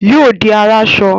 Yóò di aráṣọ